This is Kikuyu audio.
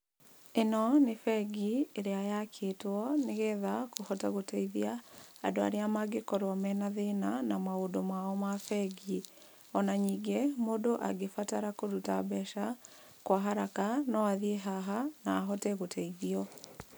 Ĩno nĩ bengi, ĩrĩa yakĩtwo nĩgetha kũhote gũteithia andũ arĩa mangĩkorwo mena thĩna na maũndũ mao mabengi. Ona ningĩ mũndũ angĩbatara kũruta mbeca kwa haraka no athiĩ haha, na ahote gũteithio.